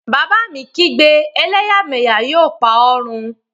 Bàbá mi kígbe, 'Ẹlẹ́yàmẹ́yà yóò pa ọ run!